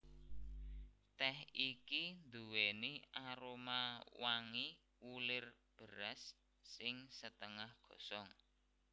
Tèh iki nduwèni aroma wangi wulir beras sing setengah gosong